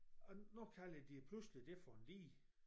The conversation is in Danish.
Og nu kalder de pludselig det for en dige